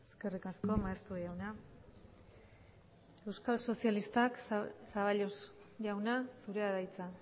eskerrik asko maeztu jauna euskal sozialistak zaballos jauna zurea da hitza